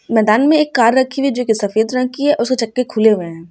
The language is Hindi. मैदान में एक कार रखी हुई है जोकि सफेद रंग की है उसके चके खुले हुए हैं।